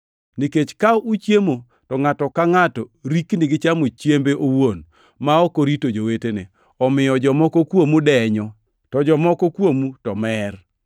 nikech ka uchiemo to ngʼato ka ngʼato rikni gichamo chiembe owuon, ma ok orito jowetene; omiyo jomoko kuomu denyo, to jomoko kuomu to mer.